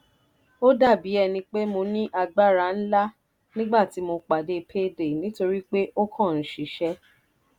ó dà bí ẹni pé mo ní agbára ńlá nígbà tí mo pàdé payday nítorí pé ó kàn ń ṣiṣẹ́.